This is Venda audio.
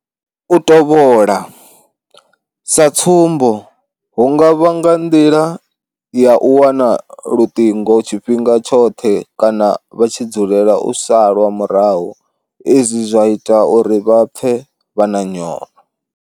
U tovhola. Sa tsumbo hu nga vha nga nḓila ya u wana luṱingo tshifhinga tshoṱhe kana vha tshi dzulela u salwa murahu izwi zwa ita uri vha pfe vha na nyofho.